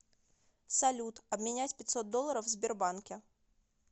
салют обменять пятьсот долларов в сбербанке